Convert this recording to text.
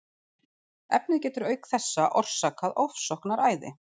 Efnið getur auk þessa orsakað ofsóknaræði.